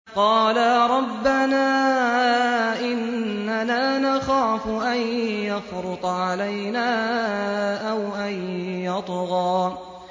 قَالَا رَبَّنَا إِنَّنَا نَخَافُ أَن يَفْرُطَ عَلَيْنَا أَوْ أَن يَطْغَىٰ